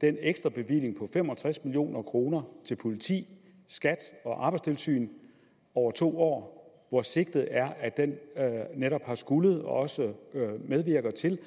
den ekstra bevilling på fem og tres million kroner til politiet skat og arbejdstilsynet over to år hvor sigtet er at den netop har skullet og også medvirker til